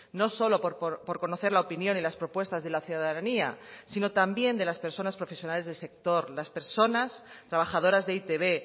no solo por conocer la opinión y las propuestas de la ciudadanía sino también de las personas profesionales del sector las personas trabajadoras de e i te be